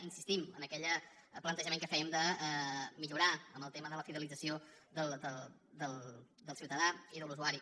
insistim en aquell plantejament que fèiem de millorar en el tema de la fidelització del ciutadà i de l’usuari